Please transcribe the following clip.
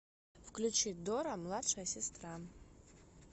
включи дора младшая сестра